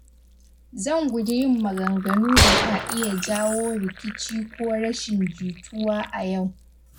Zan guji yin maganganu da ka iya jawo rikici ko rashin jituwa a yau.